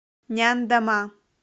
няндома